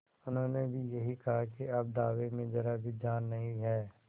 उन्होंने भी यही कहा कि अब दावे में जरा भी जान नहीं है